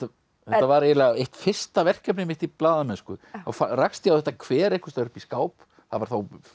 var eiginlega eitt fyrsta verkefnið mitt í blaðamennsku þá rakst ég á þetta kver einhvers staðar upp í skáp það var